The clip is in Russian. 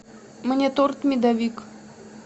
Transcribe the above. мне торт медовик